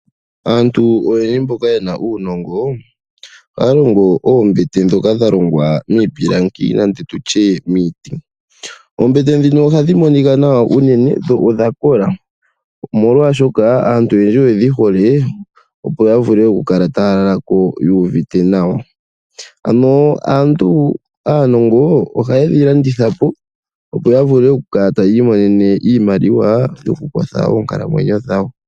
Aantu oyendji mboka yena uunongo ohaya longo oombete ndhoka dha longwa mipilangi nenge tutye miiti. Oombete ndhino ohadhi monika nawa uunene dho odha kola, molwaashoka aantu oyendji oyedhi hole opo a vule oku kala taya lala ko yuuvite nawa. Ano aanongontu ohaye dhi landitha po, opo ya vule okwiimonena iimaliwa yoku kwatha oonkalamwenyo dhawo.